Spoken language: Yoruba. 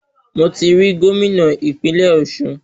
Mo ti ri Gómìnà ìpínlẹ̀ Ọ̀sun